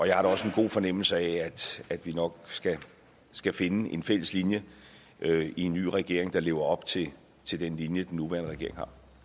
jeg har også en god fornemmelse af at vi nok skal finde en fælles linje i en ny regering der lever op til til den linje den nuværende regering